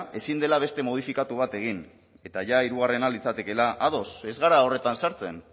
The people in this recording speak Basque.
ezin dela beste modifikatu bat egin eta jada hirugarrena litzatekeela ados ez gara horretan sartzen